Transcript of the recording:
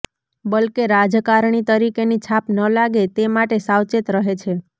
બલકે રાજકારણી તરીકેની છાપ ન લાગે તે માટે સાવચેત રહે છે